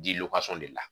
Di de la